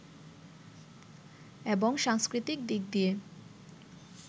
এবং সাংস্কৃতিক দিক দিয়ে